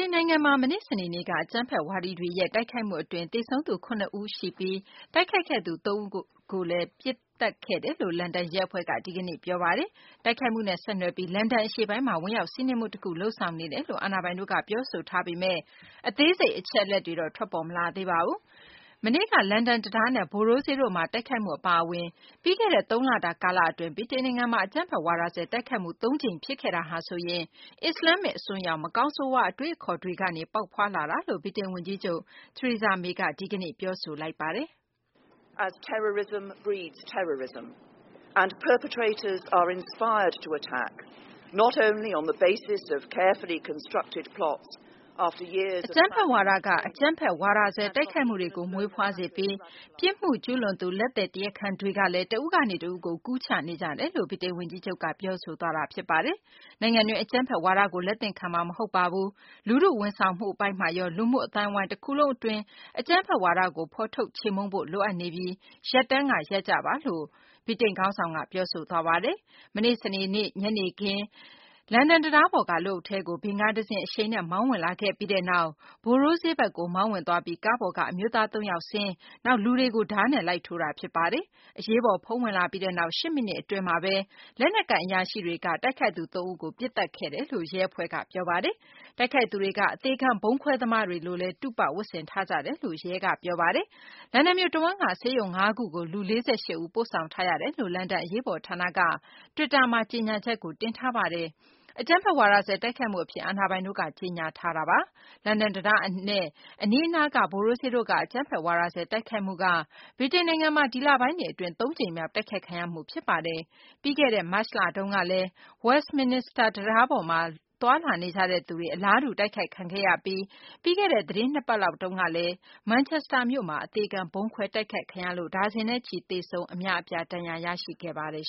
န် နိုင်ငံမှာ မနေ့ စနေနေ့က အကြမ်းဖက် ဝါဒီတွေရဲ့ တိုက်ခိုက်မှု အတွင်း သေဆုံးသူ ၇ ဦး သေဆုံးပြီး တိုက်ခိုက်ခဲ့သူ ၃ ဦးကိုလည်း သေဆုံးခဲ့တယ်လို့ လန်ဒန် ရဲ အဖွဲ့က ဒီကနေ့ ပြောဆိုပါတယ်။ တိုက်ခိုက်မှုနဲ့ ဆက်နွယ်ပြီး လန်ဒန် အရှေ့ပိုင်းမှာ ဝင်ရောက် စီးနင်းမှု တခု လုပ်ဆောင်နေတယ်လို့ အာဏာပိုင်တို့က ပြောဆိုထားပေမယ့် အသေးစိတ် အချက်အလက်တွေတော့ ထွက်ပေါ်မလာသေးပါဘူး။ မနေ့က လန်ဒန် တံတားနဲ့ Borough ဈေးတို့က တိုက်ခိုက်မှု အပါအဝင် ပြီးခဲ့တဲ့ သုံးလတာ ကာလ အတွင်း ဗြိတိန်နိုင်ငံမှာ အကြမ်းဖက် ဝါဒစွဲ တိုက်ခိုက်မှု သုံးကြိမ်ဖြစ်ခဲ့တာဟာဆိုရင် အစ္စလာမ္မစ် အစွန်းရောက် မကောင်းဆိုးရွား အတွေးအခေါ်တွေကနေ ပေါက်ဖွားလာတာလို့ ဗြိတိန် ဝန်ကြီးချုပ် Theresa May က ဒီကနေ့ ပြောဆိုလိုက်ပါတယ်။ "အကြမ်းဖက် ဝါဒက အကြမ်းဖက် ဝါဒစွဲ တိုက်ခိုက်မှုတွေကို မွေးဖွားစေပြီး ပြစ်မှုကျူးလွန်သူ လက်သည် တရားခံတွေကလည်း တဦးကနေ တဦးကို ကူးချနေကြတာ"လို့ ဗြိတိန်ဝန်ကြီးချုပ်က ပြောဆိုသွားတာ ဖြစ်ပါတယ်။ နိုင်ငံတွင်း အကြမ်းဖက်ဝါဒကို လက်သင့်ခံမှာ မဟုတ်ပါဘူး။ လူထု ဝန်ဆောင်မှုမှာရော လူမှုအသိုင်းအဝိုင်း တခုလုံး အတွင်း အကြမ်းဖက်ဝါဒကို ဖော်ထုတ် ချေမှုန်းဖို့ လိုအပ်နေပါပြီ။ ရပ်တန်းက ရပ်ပါလို့ ပြောရမယ့် အချိန်ပါလို့လည်း ဗြိတိန် ခေါင်းဆောင်က ပြောဆိုသွားပါတယ်။ မနေ့ စနေနေ့ ညနေခင်းမှာ လန်ဒန် တံတားပေါ်က လူအုပ်ထဲကို ဗင်ကားတစင်း အရှိန်နဲ့ မောင်းဝင်ခဲ့ပြီးနောက် Borough ဈေးထဲကို မောင်းဝင်ပြီး ကားပေါ်က အမျိုးသား ၃ ယောက် ဆင်းလာပြီး လူတွေကို ဓားနဲ့လိုက်ထိုးတာ ဖြစ်ပါတယ်။ အရေးပေါ် ဖုန်းဝင်လာပြီးနောက် ၈ မိနစ် အတွင်းမှာဘဲ လက်နက်ကိုင် အရာရှိတွေက တိုက်ခိုက်သူ ၃ ဦးကို ပစ်သတ်ခဲ့တာလို့ ရဲအဖွဲ့က ပြောပါတယ်။ တိုက်ခိုက်သူတွေက အသေခံ ဗုံးခွဲသမားတွေလိုလည်း တုပ ဝတ်ဆင်ထားကြတယ်လို့လည်း ရဲက ပြောပါတယ်။ လန်ဒန်မြို့ တဝန်းက ဆေးရုံ ၅ ခုကို လူ ၄၈ ဦးကို ပို့ဆောင်ထားတယ်လို့ လန်ဒါန် အရေးပေါ် ဌာနက တွစ်တာမှာ ကြေညာချက်ကို တင်ထားပါတယ်။ အကြမ်းဖက် ဝါဒစွဲ တိုက်ခိုက်မှု အဖြစ် အာဏာပိုင်တို့က ကြေညာထားပါတယ်။ လန်ဒန် တံတားနဲ့ အနီးအနားက Borough ဈေးတို့က အကြမ်းဖက် ဝါဒစွဲ တိုက်ခိုက်မှုက ဗြိတိန်နိုင်ငံမှာ ဒီလပိုင်းတွေ အတွင်း သုံးကြိမ်မြောက် တိုက်ခိုက်ခံရမှု ဖြစ်ပါတယ်။ ပြီးခဲ့တဲ့ မတ်လ တုန်းကလည်း Westminster တံတားပေါ်မှာ သွားလာနေကြသူတွေ အလားတူ တိုက်ခိုက်ခံခဲ့ရပြီး ပြီးတဲ့တဲ့ သတင်း ၂ ပတ်လောက်တုန်းကလည်း မန်ချက်စတာမြို့မှာ အသေခံ ဗုံးခွဲ တိုက်ခိုက်ခံရလို့ ဒါဇင်နဲ့ချီ သေဆုံးပြီး အများအပြား ဒဏ်ရာရခဲ့ပါတယ်